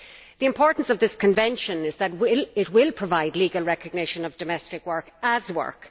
The importance of this ILO Convention is that it will provide legal recognition of domestic work as work.